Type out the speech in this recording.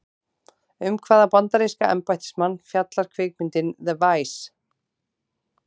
Um hvaða bandaríska embættismann fjallar kvikmyndin The Vice?